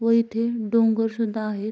व इथे डोंगर सुद्धा आहेत.